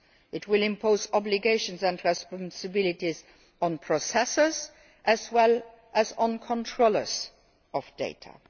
It will impose obligations and responsibilities on processors as well as controllers of data.